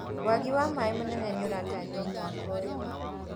Wagi wa maĩ mũnene nĩũratanyũo mwaka ũyũ.